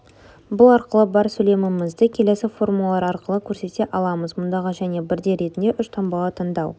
бұл арқылы бар сөйлемімізді келесі формулалар арқылы көрсете аламыз мұндағы және бірдей ретінде үш таңбаны таңдау